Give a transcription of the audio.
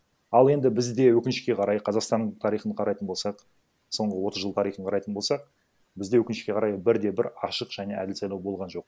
ал енді бізде өкінішке қарай қазақстан тарихын қарайтын болсақ соңғы отыз жыл тарихын қарайтын болсақ бізде өкінішке қарай бірде бір ашық және әділ сайлау болған жоқ